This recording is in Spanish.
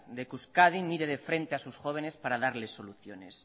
de que euskadi mire de frente a sus jóvenes para darles soluciones